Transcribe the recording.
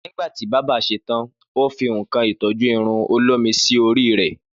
Nígbàtí bábà ṣe tan, o fi ńǹkan ìtọ́jú irun olómi sí orí rè